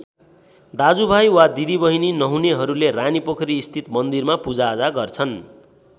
दाजुभाइ वा दिदीबहिनी नहुनेहरूले रानीपोखरी स्थित मन्दिरमा पूजाआजा गर्छन्।